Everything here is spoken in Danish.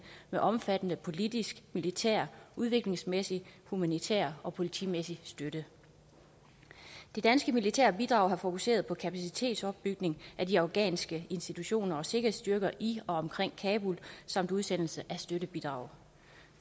med omfattende politisk militær udviklingsmæssig humanitær og politimæssig støtte det danske militære bidrag har fokuseret på kapacitetsopbygning af de afghanske institutioner og sikkerhedsstyrker i og omkring kabul samt udsendelse af støttebidrag